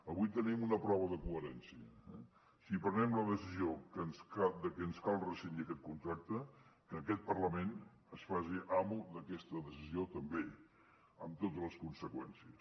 avui tenim una prova de coherència eh si prenem la decisió de que ens cal rescindir aquest contracte que aquest parlament es faci amo d’aquesta decisió també amb totes les conseqüències